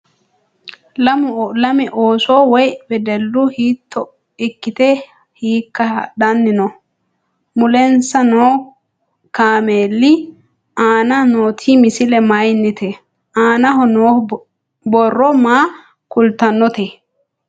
Lame oosso woy wedeellu hiitto ikkitte hiikka hadhanni noo? Mulensa noo kameeli aanna nootti misile mayiinnite? aannaho noo borro maa kulitannotte?